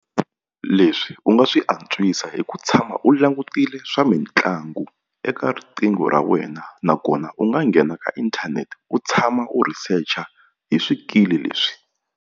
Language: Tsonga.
Leswi u nga swi antswisa hi ku tshama u langutile swa mitlangu eka riqingho ra wena nakona u nga nghena ka inthanete u tshama u researcher hi swikili leswi.